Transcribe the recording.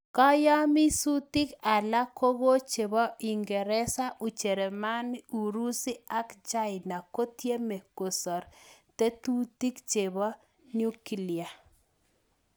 Kayamisutik alaak kokochepoo uingeresa ,ujerumani ,urusi ak chaina kotyemee kosaar tetutik chepoo nukilia